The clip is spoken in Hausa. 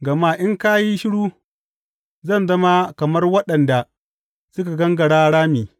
Gama in ka yi shiru, zan zama kamar waɗanda suka gangara rami.